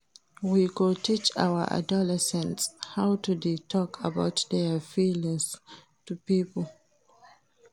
We go teach our adolescents how to dey tok about their feelings to pipo.